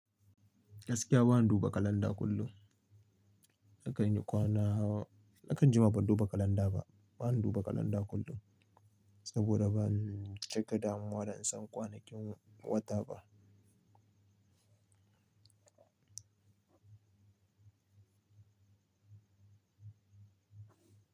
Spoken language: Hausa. Gaskiya ba na duba kalanda kullum. Na kan yi kwana, na kan juma ban duba kalanda ba. Ba na duba kalanda kullum, saboda ba ni cika damuwa da in san kwanakin wata ba.